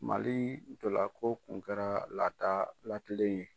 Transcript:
Mali ntɔla ko kun kɛra, lada lakilen ye.